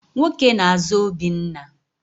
Nwoke na-àzá Obinna.